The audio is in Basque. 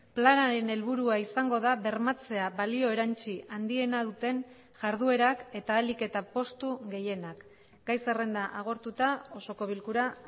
planaren helburua izango da bermatzea balio erantzi handiena duten jarduerak eta ahalik eta postu gehienak gai zerrenda agortuta osoko bilkura